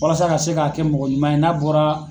Walasa a ka se ka kɛ mɔgɔ ɲuman ye n'a bɔra